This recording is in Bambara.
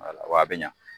a bɛ ɲa